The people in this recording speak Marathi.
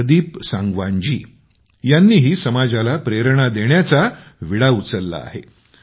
प्रदीप सांगवान जी यांनीही समाजाला प्रेरणा देण्याचा विडा उचलाल आहे